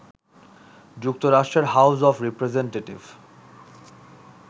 যুক্তরাষ্ট্রের house of representative